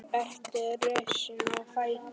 Berti er risinn á fætur.